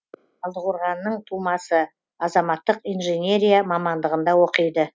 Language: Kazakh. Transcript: талдықорғаннын тумасы азаматтық инжинерия мамандығында оқиды